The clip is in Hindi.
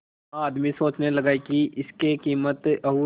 वह आदमी सोचने लगा की इसके कीमत और